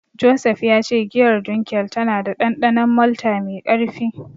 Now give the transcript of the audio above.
Joseph ya ce giyar Dunkel tana da dandanon malta mai karfi.